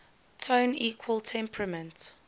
tone equal temperament